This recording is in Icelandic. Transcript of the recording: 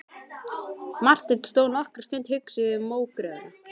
Marteinn stóð nokkra stund hugsi við mógröfina.